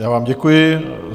Já vám děkuji.